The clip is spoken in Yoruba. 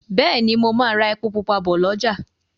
Béèni mo má rà èpo pupa bó l'ọja.